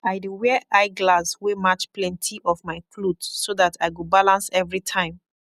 i dey wear eye glass wey match plenti of mai koth so dat i go balance evry time